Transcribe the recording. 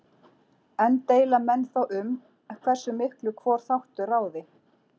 Enn deila menn þó um hversu miklu hvor þáttur ráði.